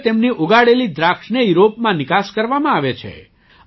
હવે તેમની ઉગાડેલી દ્રાક્ષને યુરોપમાં નિકાસ કરવામાં આવે છે